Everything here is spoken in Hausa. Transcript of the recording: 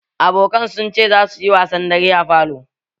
Abokan sun ce za suyi wasan dare a falo